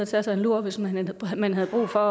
tage sig en lur hvis man man havde brug for